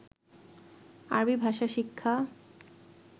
আরবী ভাষা শিক্ষা